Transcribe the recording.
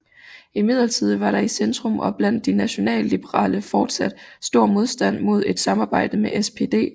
Imidlertid var der i Centrum og blandt de nationalliberale fortsat stor modstand mod et samarbejde med SPD